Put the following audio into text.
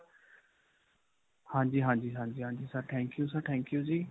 ਹਾਂਜੀ, ਹਾਂਜੀ, ਹਾਂਜੀ, ਹਾਂਜੀ sir, thank you sir, thank you ਜੀ.